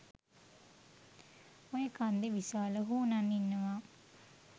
ඔය කන්දේ විශාල හුනන් ඉන්නවා